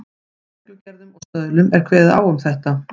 Í reglugerðum og stöðlum er kveðið á um þetta.